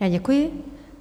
Já děkuji.